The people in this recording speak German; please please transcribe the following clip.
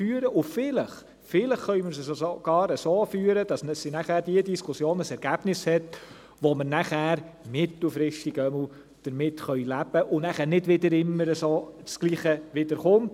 Vielleicht, vielleicht können wir sie sogar so führen, dass diese Diskussionen ein Ergebnis bringen, mit dem wir nachher zumindest mittelfristig leben können, und nicht immer wieder dasselbe kommt.